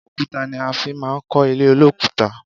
Òkúta ni a fi máa ń kó ilé olokuta